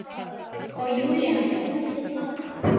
Og Júlía kom til baka.